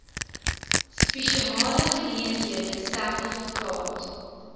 spesiale geleenthede sertifikaat